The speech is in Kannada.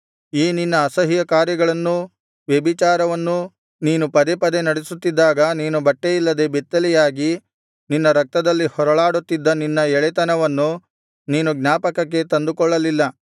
ಈ ನಿನ್ನ ಅಸಹ್ಯಕಾರ್ಯಗಳನ್ನೂ ವ್ಯಭಿಚಾರವನ್ನು ನೀನು ಪದೇ ಪದೇ ನಡೆಸುತ್ತಿದ್ದಾಗ ನೀನು ಬಟ್ಟೆಯಿಲ್ಲದೆ ಬೆತ್ತಲೆಯಾಗಿ ನಿನ್ನ ರಕ್ತದಲ್ಲಿ ಹೊರಳಾಡುತ್ತಿದ್ದ ನಿನ್ನ ಎಳೆತನವನ್ನು ನೀನು ಜ್ಞಾಪಕಕ್ಕೆ ತಂದುಕೊಳ್ಳಲಿಲ್ಲ